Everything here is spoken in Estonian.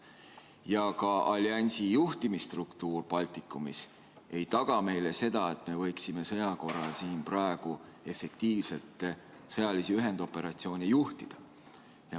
Teiseks, ka alliansi juhtimisstruktuur Baltikumis ei taga meile seda, et me võiksime sõja korral siin praegu efektiivselt sõjalisi ühendoperatsioone juhtida.